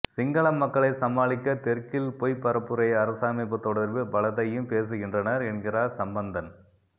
சிங்கள மக்களை சமாளிக்க தெற்கில் பொய்ப் பரப்புரை அரசமைப்பு தொடர்பில் பலதையும் பேசுகின்றனர் என்கிறார் சம்பந்தன்